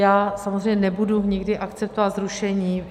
Já samozřejmě nebudu nikdy akceptovat zrušení.